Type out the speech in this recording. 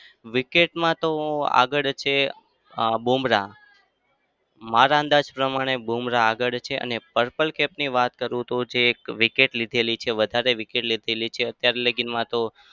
wicket માં તો આગળ છે બુમરાહ મારા અંદાજ પ્રમાણે બુમરાહ આગળ છે અને purple cap ની વાત કરું તો જે wicket લીધેલી છે વધારે wicket લીધેલી છે અત્યારે લગીમાં તો